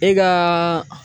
E kaaa